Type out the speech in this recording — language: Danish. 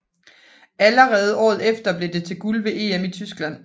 Allerede året efter blev det til guld ved EM i Tyskland